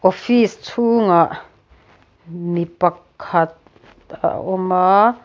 office chhûngah mi pakhat a awm a.